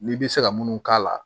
N'i bɛ se ka munnu k'a la